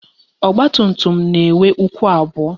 Ọgbatumtum na-enwe ụkwụ abụọ